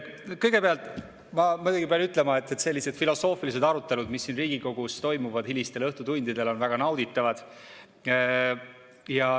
Kõigepealt ma muidugi pean ütlema, et sellised filosoofilised arutelud, mis siin Riigikogus toimuvad hilistel õhtutundidel, on väga nauditavad.